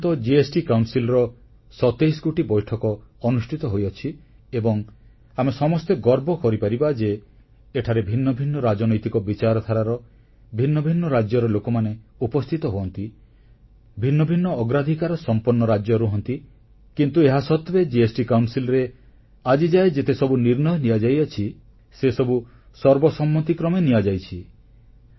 ଆଜିପର୍ଯ୍ୟନ୍ତ ଜିଏସଟି ପରିଷଦର 27 ଗୋଟି ବୈଠକ ଅନୁଷ୍ଠିତ ହୋଇଅଛି ଏବଂ ଆମେ ସମସ୍ତେ ଗର୍ବ କରିପାରିବା ଯେ ଏଠାରେ ଭିନ୍ନଭିନ୍ନ ରାଜନୈତିକ ବିଚାରଧାରାର ଭିନ୍ନ ଭିନ୍ନ ରାଜ୍ୟର ଲୋକମାନେ ଉପସ୍ଥିତ ହୁଅନ୍ତି ଭିନ୍ନ ଭିନ୍ନ ଅଗ୍ରାଧିକାରସମ୍ପନ୍ନ ରାଜ୍ୟ ରୁହନ୍ତି କିନ୍ତୁ ଏହାସତ୍ୱେ ଜିଏସଟି ପରିଷଦରେ ଆଜିଯାଏ ଯେତେ ସବୁ ନିର୍ଣ୍ଣୟ ନିଆଯାଇଅଛି ସେସବୁ ସର୍ବସମ୍ମତି କ୍ରମେ ନିଆଯାଇଛି